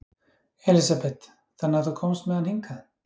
Elísabet: Þannig að þú komst með hann hingað?